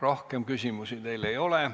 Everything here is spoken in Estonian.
Rohkem küsimusi teile ei ole.